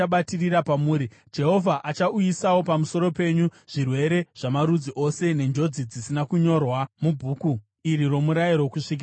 Jehovha achauyisawo pamusoro penyu zvirwere zvamarudzi ose nenjodzi dzisina kunyorwa muBhuku iri roMurayiro, kusvikira maparadzwa.